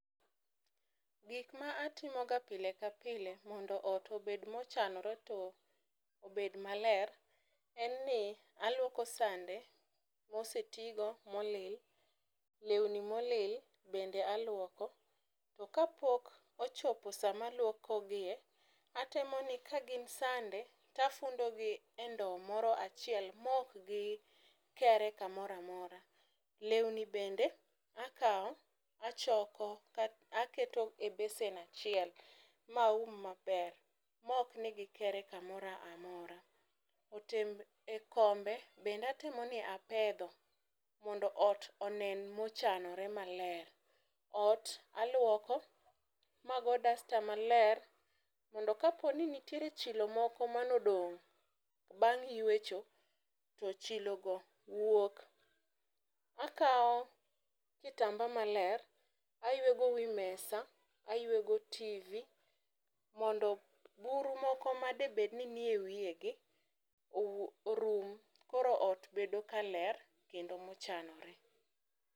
Gik ma atimo ga pile ka pile mondo ot obed mochanore to obed maler, en ni aluoko sande mosetigo molil ,lewni molil bende aluoko . To kapok ochopo saa ma aluoko gie atemo ni ka gin sande tafundo gi e ndowo moro achiel mok gikere kamoro amora . Lewni bende akawo achoko ka akete besen achiel maum maber mok ni gikere kamoramora. E kombe bende aneno ni apedho mondo ot onen mochanore maber . Ot aluoko mago dasta maler mondo ka ntie chilo moko mane odong' bang' yuecho to chilo go wuok. Akawo kitamba maler ayuego wii mesa, ayuego tivi, mondo buru moko madebed ni nie wiyegi orum. Koro ot bedo ka ler kendo mochanore.